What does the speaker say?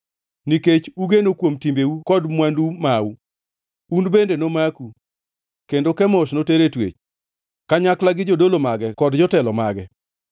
Nikech ugeno kuom timbeu kod mwandu mau, un bende nomaku, kendo Kemosh noter e twech, kanyakla gi jodolo mage kod jotelo mage.